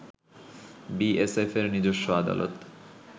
B S এফের নিজস্ব আদালত